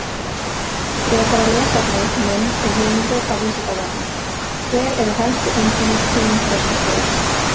Frekara lesefni, mynd og heimildir á Vísindavefnum: Hver eru helstu einkenni kynþroskaskeiðs?